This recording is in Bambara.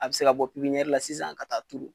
A bɛ se ka bɔ pipiniyɛri la sisan ka taa turu.